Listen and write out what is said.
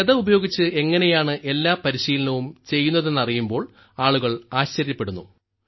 ഗദ ഉപയോഗിച്ച് എങ്ങനെയാണ് എല്ലാ പരിശീലനവും ചെയ്യുന്നതെന്നറിയുമ്പോൾ ആളുകൾ ആശ്ചര്യപ്പെടുന്നു